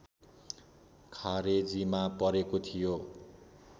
खारेजीमा परेको थियो